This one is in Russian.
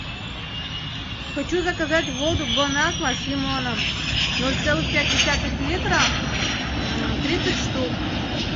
хочу заказать воду бонаква с лимоном ноль целых пять десятых литра тридцать штук